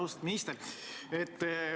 Austatud minister!